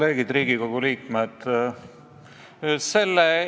See, et kunagi menetluse käigus määratakse ehk väiksem sunniraha, maksab esialgu üsna vähe.